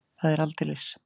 Það er aldeilis!